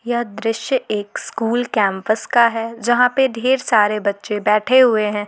यह दृश्य एक स्कूल कैंपस का है जहां पर ढेर सारे बच्चे बैठे हुए हैं।